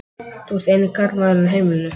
Þú ert eini karlmaðurinn á heimilinu.